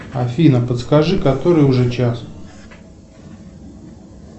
афина подскажи который уже час